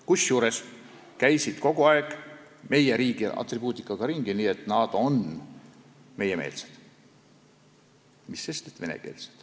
Kusjuures käidi kogu aeg meie riigi atribuutikaga ringi, nii et nad on meiemeelsed, mis sest, et venekeelsed.